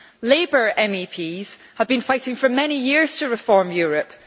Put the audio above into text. Labour MEPs have been fighting for many years to reform Europe.